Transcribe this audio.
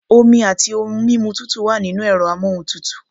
Omi àti ohun mímu tútù wà nínú ẹ̀rọ amóhuntutù.